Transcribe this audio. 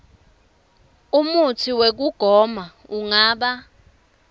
umutsi wekugoma ungaba